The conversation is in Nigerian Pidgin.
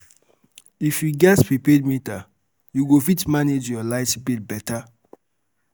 If you get prepaid meter, you go fit manage your light bill better.